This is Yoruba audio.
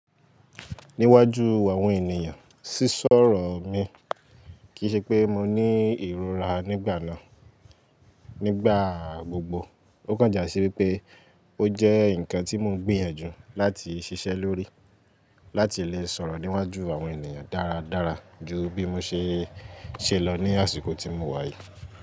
Níwájú àwọn ènìyàn, sísọ̀rọ̀ mi, kì í ṣe pé mo ní ìrora nígbà náà. Nígbà gbogbo, ó kàn jà sí wípé ó jẹ́ ǹkan tí mò ń gbìyànjú láti ṣiṣẹ́ lórí láti lè sọ̀rọ̀ níwájú àwọn ènìyàn dáradára ju bí mo ṣe ṣe lọ ní àsìkò tí mo wà yìí.